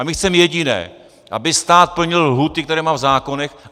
A my chceme jediné, aby stát plnil lhůty, které má v zákonech.